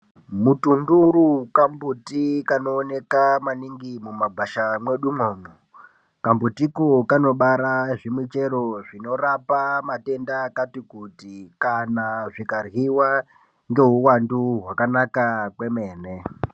Mutunduru kambuti kanooneka kwaningi mumagwasha mwedumwo. Kambutiko kanobara zvimichero zvinorapa matenda akati kuti kana zvikaryiwa ngeuwandu hwakanaka kwemene.